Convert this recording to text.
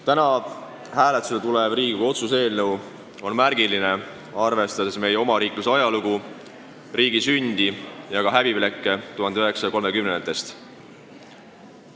Täna hääletusele tulev Riigikogu otsuse eelnõu on märgiline, arvestades meie omariikluse ajalugu, riigi sündi ja ka häbiplekke 1930-ndatest.